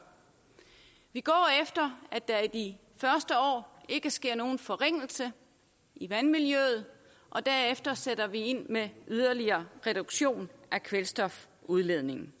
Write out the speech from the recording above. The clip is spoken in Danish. vi går efter at der i de første år ikke sker nogen forringelse i vandmiljøet og derefter sætter vi ind med yderligere reduktion af kvælstofudledningen